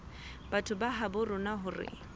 batho ba habo rona hore